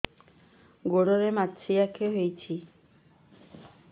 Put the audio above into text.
ଗୋଡ଼ରେ ମାଛଆଖି ହୋଇଛି